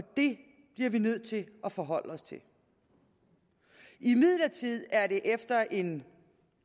det bliver vi nødt til at forholde os til imidlertid er det efter en